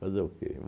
Fazer o quê?